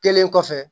Kelen kɔfɛ